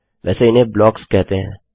वैसे इन्हें ब्लॉक्स कहते हैं